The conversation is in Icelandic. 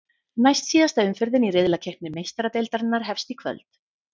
Næstsíðasta umferðin í riðlakeppni Meistaradeildarinnar hefst í kvöld.